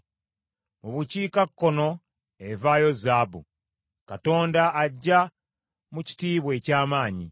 Mu bukiikakkono evaayo zaabu; Katonda ajja mu kitiibwa eky’amaanyi.